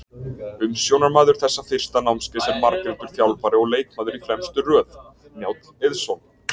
Umsjónarmaður þessa fyrsta námskeiðs er margreyndur þjálfari og leikmaður í fremstu röð, Njáll Eiðsson.